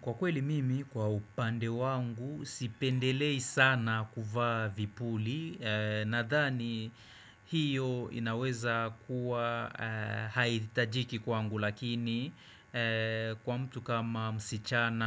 Kwa kweli mimi, kwa upande wangu, sipendelei sana kuvaa vipuli, nadhani hiyo inaweza kuwa haithitajiki kwangu, lakini kwa mtu kama msichana